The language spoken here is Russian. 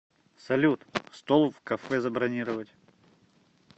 салют стол в кафе забронировать